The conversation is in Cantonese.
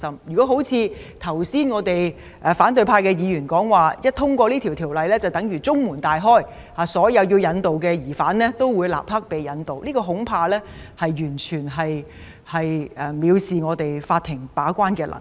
如果像反對派議員剛才所說，《條例》獲得通過便等於中門大開，所有須被引渡的疑犯都會立即被引渡，恐怕這完全藐視法庭把關的能力。